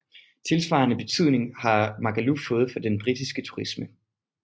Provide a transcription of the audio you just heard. Tilsvarende betydning har Magaluf fået for den britiske turisme